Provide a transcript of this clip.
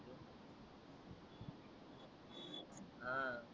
अं